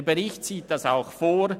Der Bericht sieht das auch vor.